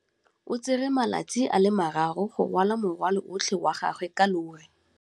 O tsere malatsi a le marraro go rwala morwalo otlhe wa gagwe ka llori.